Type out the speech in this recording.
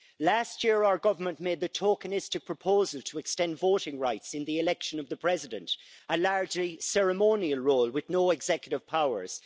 Last year our government made the tokenistic proposal to extend voting rights in the election of the president, a largely ceremonial role with no executive powers.